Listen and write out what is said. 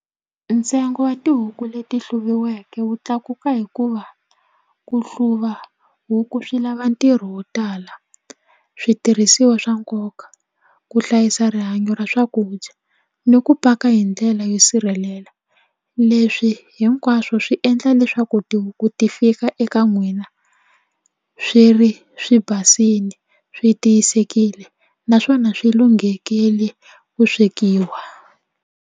Ntsengo wa tihuku leti hluviweke wu tlakuka hikuva ku hluva huku swi lava ntirho wo tala switirhisiwa swa nkoka ku hlayisa rihanyo ra swakudya ni ku paka hi ndlela yo sirhelela leswi hinkwaswo swi endla leswaku tihuku ti fika eka n'wina swi ri swi basile swi tiyisekile naswona swi lunghekile ku swekiwa.